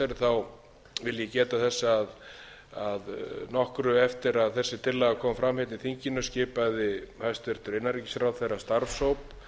þessari vil ég geta þess að nokkru eftir að þessi tillaga kom fram hérna í þinginu skipaði hæstvirtur innanríkisráðherra starfshóp